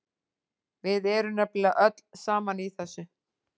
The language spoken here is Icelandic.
Við erum nefnilega öll saman í þessu.